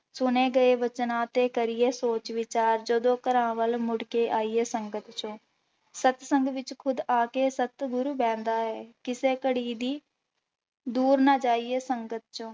ਸੁਣੇ ਗਏ ਬਚਨਾਂ ਤੇ ਕਰੀਏ ਸੋਚ ਵਿਚਾਰ, ਜਦੋਂ ਘਰਾਂ ਵੱਲ ਮੁੜਕੇ ਆਈਏ ਸੰਗਤ ਚੋਂ, ਸਤਸੰਗ ਵਿੱਚ ਖੁਦ ਆ ਕੇ ਸਤਿਗੁਰੁ ਬਹਿੰਦਾ ਹੈ, ਕਿਸੇ ਘੜੀ ਦੀ ਦੂਰ ਨਾ ਜਾਈਏ ਸੰਗਤ ਚੋਂ।